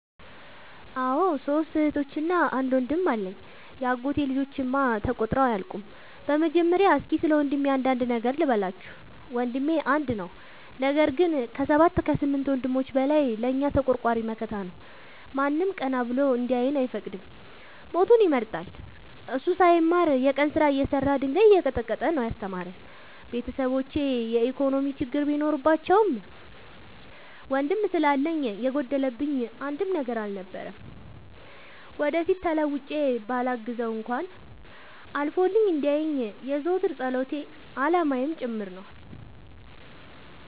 አዎ ሶስት እህቶች አንድ ወንድም አለኝ የአጎቴ ልጆች እማ ተቆጥረው አያልቁም። በመጀመሪያ እስኪ ስለወንድሜ አንዳንድ ነገር ልበላችሁ። ወንድሜ አንድ ነው ነገር ግን አሰባት ከስምንት ወንድሞች በላይ ለእኛ ተቆርቋሪ መከታ ነው። ማንም ቀና ብሎ እንዲያየን አይፈቅድም ሞቱን ይመርጣል። እሱ ሳይማር የቀን ስራ እየሰራ ድንጋይ እየቀጠቀጠ ነው። ያስተማረን ቤተሰቦቼ የኢኮኖሚ ችግር ቢኖርባቸውም ወንድም ስላለኝ የጎደለብኝ አንድም ነገር አልነበረም። ወደፊት ተለውጬ በላግዘው እንኳን አልፎልኝ እንዲየኝ የዘወትር ፀሎቴ አላማዬም ጭምር ነው።